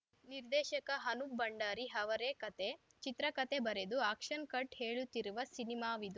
ನಿರ್ದೇಶಕ ಅನೂಪ್‌ ಭಂಡಾರಿ ಅವರೇ ಕತೆ ಚಿತ್ರಕತೆ ಬರೆದು ಆ್ಯಕ್ಷನ್‌ ಕಟ್‌ ಹೇಳುತ್ತಿರುವ ಸಿನಿಮಾವಿದು